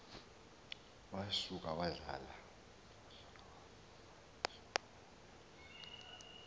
wa suka wazala